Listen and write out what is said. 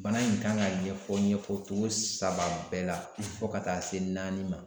Bana in kan ka ɲɛfɔ ɲɛfɔtogo saba bɛɛ la fɔ ka taa se naani ma